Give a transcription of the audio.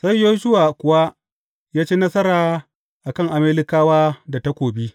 Sai Yoshuwa kuwa ya ci nasara a kan Amalekawa da takobi.